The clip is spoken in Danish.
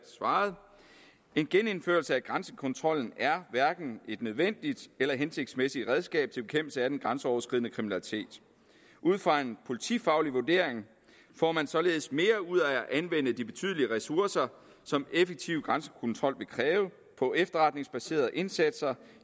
en genindførelse af grænsekontrollen er hverken et nødvendigt eller hensigtsmæssigt redskab til bekæmpelse af den grænseoverskridende kriminalitet ud fra en politifaglig vurdering får man således mere ud af at anvende de betydelige ressourcer som en effektiv grænsekontrol vil kræve på efterretningsbaserede indsatser